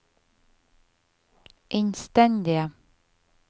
innstendige